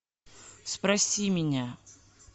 спроси меня